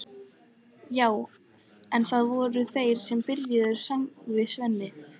Já en, það voru þeir sem byrjuðu, sagði Svenni.